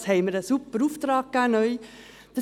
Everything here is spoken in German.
Dafür haben wir einen neuen Super-Auftrag gegeben.